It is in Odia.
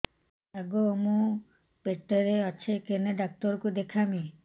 ଆଗୋ ମୁଁ ପେଟରେ ଅଛେ କେନ୍ ଡାକ୍ତର କୁ ଦେଖାମି